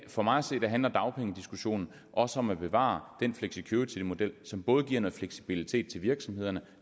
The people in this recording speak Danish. for mig at se handler dagpengediskussionen også om at bevare den flexicuritymodel som både giver noget fleksibilitet til virksomhederne